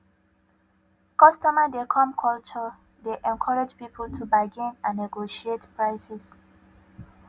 customer dey come culture dey encourage people to bargain and negotiate prices